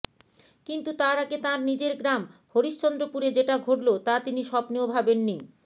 কিন্তু তার আগে তাঁর নিজের গ্রাম হরিশ্চন্দ্রপুরে যেটা ঘটল তা তিনি স্বপ্নেও ভাবেননি